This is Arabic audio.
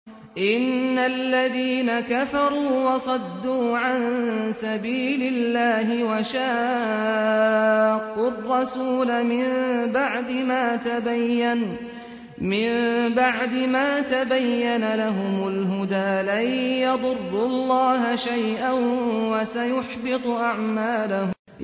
إِنَّ الَّذِينَ كَفَرُوا وَصَدُّوا عَن سَبِيلِ اللَّهِ وَشَاقُّوا الرَّسُولَ مِن بَعْدِ مَا تَبَيَّنَ لَهُمُ الْهُدَىٰ لَن يَضُرُّوا اللَّهَ شَيْئًا وَسَيُحْبِطُ أَعْمَالَهُمْ